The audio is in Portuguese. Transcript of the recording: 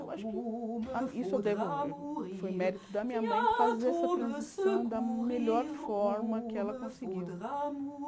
Eu acho que ah isso eu devo foi mérito da minha mãe fazer essa transição da melhor forma que ela conseguiu.